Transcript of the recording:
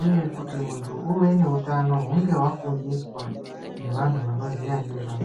uye kuti muntu uve nehutano hunge wafundiswa nevantu vanoziva ngezvazvo.